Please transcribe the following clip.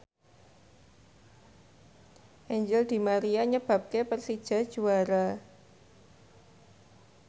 Angel di Maria nyebabke Persija juara